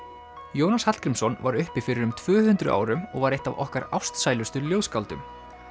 Jónas Hallgrímsson var uppi fyrir um tvö hundruð árum og var eitt af okkar ástsælustu ljóðskáldum